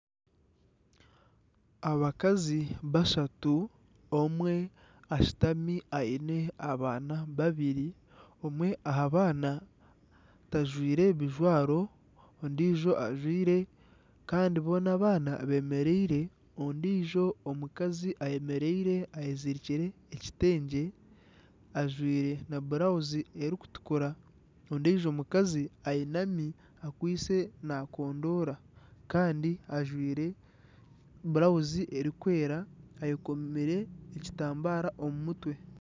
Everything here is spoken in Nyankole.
Abakazi bashatu, omwe ashutami aine abaana babiri. Omwe aha baana tajwire bijwaro, ondijo ajwire kandi boona abaana bemereire. Ondijo omukazi ayemereire ayezirikire ekitengye ajwire na burawuzi erikutukura, ondijo omukazi ayinami akwitse nakondoora Kandi ajwire burawuzi erikwera ayekomire ekitambara omu mutwe.